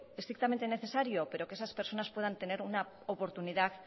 estrictamente necesario pero que esas personas puedan tener una oportunidad